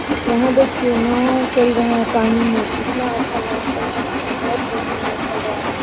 यहाँ देखिये नाव चल रहे है पानी में कितना अच्छा नाव चल रहा है बहुत बढ़िया नाव चल रहा है।